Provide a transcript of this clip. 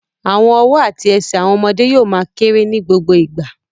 Àwọn ọwọ́ àti ẹsẹ̀ àwọn ọmọdé yóò ma kérè ní gbogbo ìgbà